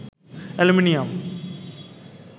aluminium